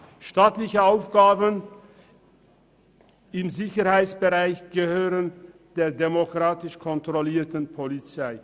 Staatliche Aufgaben im Sicherheitsbereich gehören zur demokratisch kontrollierten Polizei.